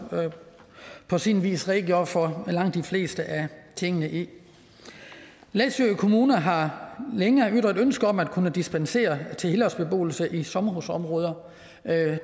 på sin vis redegjorde for langt de fleste af tingene i læsø kommune har længe ytret ønske om at kunne give dispensation til helårsbeboelse i sommerhusområder